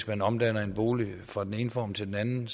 man omdanner en bolig fra den ene form til den anden